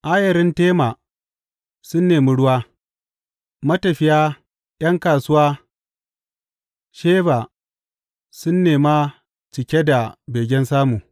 Ayarin Tema sun nemi ruwa, matafiya ’yan kasuwa Sheba sun nema cike da begen samu.